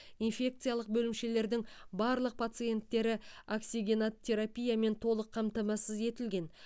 инфекциялық бөлімшелердің барлық пациенттері оксигенотерапиямен толық қамтамасыз етілген